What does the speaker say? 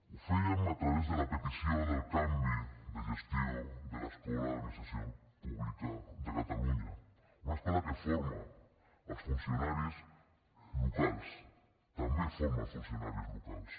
ho fèiem a través de la petició del canvi de gestió de l’escola d’administració pública de catalunya una escola que forma els funcionaris locals també forma els funcionaris locals